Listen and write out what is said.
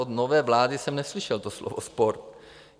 Od nové vlády jsem neslyšel to slovo sport.